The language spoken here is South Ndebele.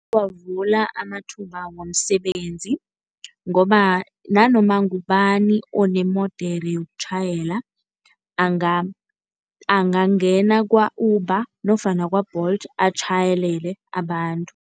Iyawavula amathuba womsebenzi ngoba nanoma ngubani onemodere yokutjhayela angangena kwa-Uber nofana kwa-Bolt atjhayelele abantu.